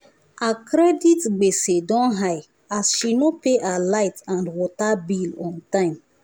her credit gbese don high as she no pay her light and water bill on time